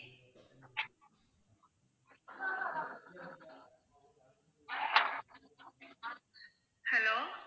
hello